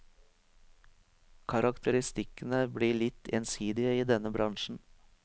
Karakteristikkene blir litt ensidige i denne bransjen.